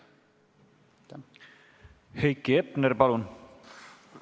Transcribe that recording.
Heiki Hepner, palun!